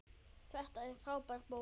Þetta er frábær bók.